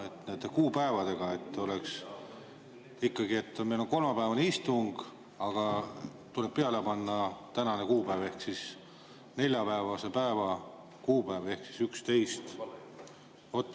Et nende kuupäevadega oleks asi ikkagi selge, siis ütlen, et meil on kolmapäevane istung, aga tuleb peale panna tänane kuupäev, neljapäevase päeva kuupäev ehk siis 11.